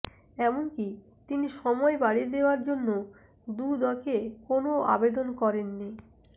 এমনকি তিনি সময় বাড়িয়ে দেওযার জন্য দুদকে কোনও আবেদনও করেননি